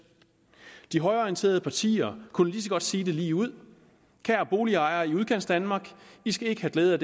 de højreorienterede partier kunne lige så godt sige det ligeud kære boligejere i udkantsdanmark i skal ikke have glæde